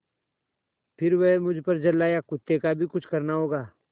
फिर वह मुझ पर झल्लाया कुत्ते का भी कुछ करना होगा